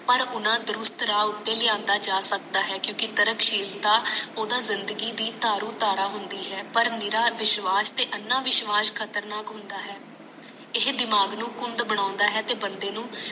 ਪਰ ਉਹਨਾਂ ਦਰੁਸਤ ਰਾਹ ਉਤਾਰਿਆ ਜਾ ਸਕਦਾ ਹੈ ਕਿਉਂਕਿ ਤਰਕਸ਼ੀਲਤਾ ਉਹ ਤਾ ਜਿੰਦਗੀ ਦੀ ਤਾਰੁਧਾਰਾ ਹੁੰਦੀ ਹੈ ਪਰ ਨਿਰਾ ਵਿਸ਼ਵਾਸ ਤੇ ਅੰਨਾ ਵਿਸ਼ਵਾਸ ਖ਼ਤਰਨਾਕ ਹੁੰਦਾ ਹੈ ਇਹ ਦਿਮਾਗ ਨੂੰ ਘੁੰਡ ਬਣਾਉਂਦਾ ਹੈ ਤੇ ਬੰਦੇ ਨੂੰ